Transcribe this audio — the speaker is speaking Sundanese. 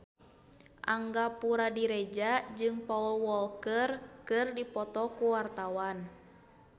Angga Puradiredja jeung Paul Walker keur dipoto ku wartawan